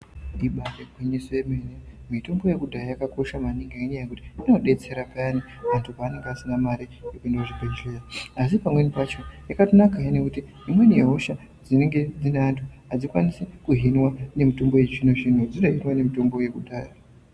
Ibaari gwinyiso yemene, mitombo yekudhaya yakakosha maningi ngenyaya yekuti inodetsera payani muntu paanonga asina mare yekuende kuzvibhedhlera. Asi pamweni pacho yakatonakahe nekuti imweni yehosha dzinenge dzine antu adzikwanisi kuhinwa nemitombo yechizvino-zvino dzinohinwa nemitombo yekudhaya.